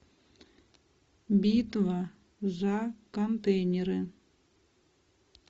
битва за контейнеры